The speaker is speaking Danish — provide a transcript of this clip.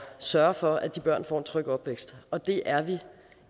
sørge for at de børn får en tryg opvækst og det er vi